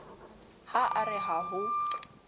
ha a re ha ho